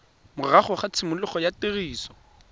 morago ga tshimologo ya tiriso